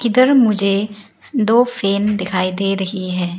इधर मुझे दो फैन दिखाई दे रही है।